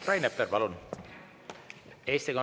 Rain Epler, palun!